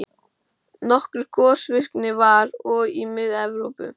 Nokkur gosvirkni var og í Mið-Evrópu.